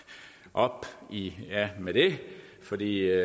op i med det fordi det